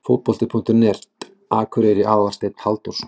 Fótbolti.net, Akureyri- Aðalsteinn Halldórsson.